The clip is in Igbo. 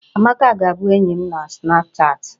Amaka ga-abụ enyi m na snapchatị?